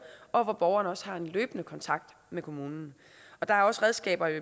og hvor borgeren også har en løbende kontakt med kommunen der er også redskaber